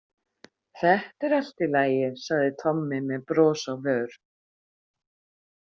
Þetta er allt í lagi, sagði Tommi með bros á vör.